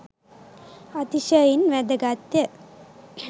අතිශයින් වැදගත් ය.